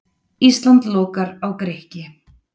Ísland lokar á Grikki